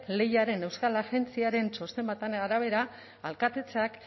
lehiaren euskal agentziaren txosten baten arabera alkatetzak